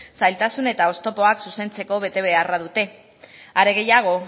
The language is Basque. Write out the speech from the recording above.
zailtasun eta oztopoak zuzentzeko betebeharra dute are gehiago